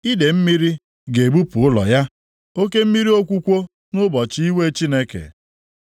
Idee mmiri ga-ebupu ụlọ ya; oke mmiri okwukwo nʼụbọchị iwe Chineke.